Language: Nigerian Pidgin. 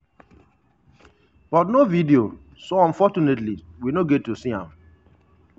but no video so unfortunately we no get to see am.